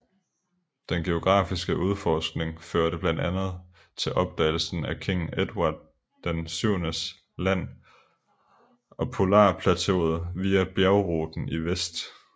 Den geografiske udforskning førte blandt andet til opdagelsen af King Edward VII Land og polarplateauet via bjergruten i vest